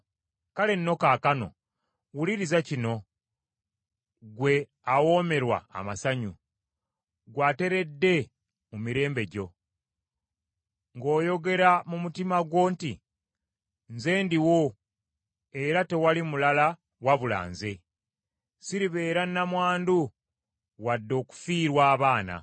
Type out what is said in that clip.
“Kale nno kaakano wuliriza kino, ggwe awoomerwa amasanyu ggwe ateredde mu mirembe gyo, ng’oyogera mu mutima gwo nti, ‘Nze ndiwo era tewali mulala wabula nze. Siribeera nnamwandu wadde okufiirwa abaana.’